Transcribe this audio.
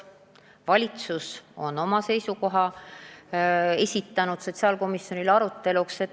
Valitsus on esitanud oma seisukoha sotsiaalkomisjonile aruteluks.